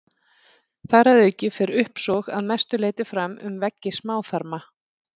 Þar að auki fer uppsog að mestu leyti fram um veggi smáþarma.